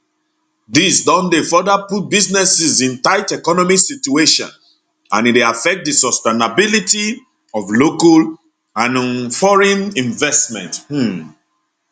dis don dey further put businesses in tight economic situation and e dey affect di sustainability of local and um foreign investment um